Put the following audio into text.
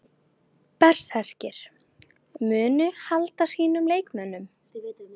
Berserkir: Munu halda sínum leikmönnum.